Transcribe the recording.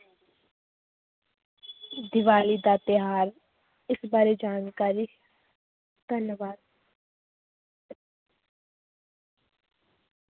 ਦੀਵਾਲੀ ਦਾ ਤਿਉਹਾਰ ਇਸ ਬਾਰੇ ਜਾਣਕਾਰੀ ਧੰਨਵਾਦ।